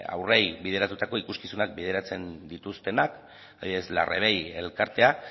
haurrei bideratutako ikuskizunak bideratzen dituztenak adibidez larre bei elkartea